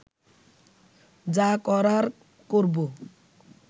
যা করার করব